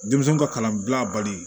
Denmisɛnw ka kalanbila bali